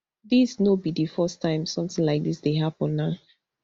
dis no be di first time sometin like dis dey happen na